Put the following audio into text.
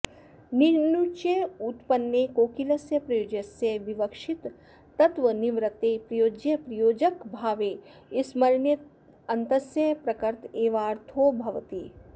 णिच्युत्पन्ने कोकिलस्य प्रयोज्यस्य विवक्षितत्वान्निवृत्ते प्रयोज्यप्रयोजकभावे स्मरयतेण्र्यन्तस्य प्रकृत एवार्थो भवति